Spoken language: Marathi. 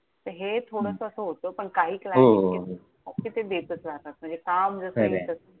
तर हे थोडंसं असं होतं. पण काही हो हो हो. कि ते देतच राहतात, काम जसं खरंय येईल तसं.